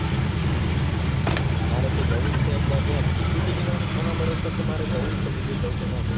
મારે તો જવું જ છે એકવાર ત્યાં ટીકુ જી ની વાડી મહાબળેશ્વર તો મારે જવું જ છે બીજે જઉ કે ના જઉં.